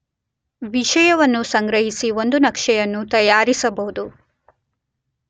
ವಿಷಯವನ್ನು ಸಂಗ್ರಹಿಸಿ ಒಂದು ನಕ್ಷೆಯನ್ನು ತಯಾರಿಸಬಹುದು.